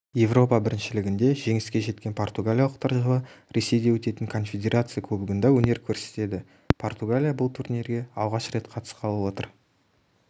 еуропа біріншілігінде жеңіске жеткен португалиялықтар жылы ресейде өтетін конфедерация кубогында өнер көрсетеді португалия бұл турнирге алғаш рет қатысқалы отыр